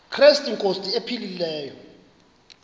krestu inkosi ephilileyo